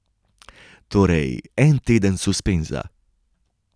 Torej, en teden suspenza.